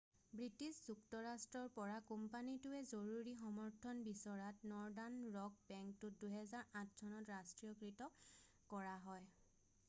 British যুক্তৰাষ্ট্ৰৰ পৰা কোম্পানীটোৱে জৰুৰী সমৰ্থন বিচৰাত নৰ্দান ৰক বেংকটোক 2008 চনত ৰাষ্ট্ৰীয়কৃত কৰা হয়